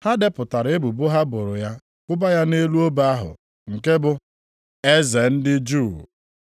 Ha depụtara ebubo ha boro ya kwụba ya nʼelu obe ahụ, nke bụ: Eze ndị Juu.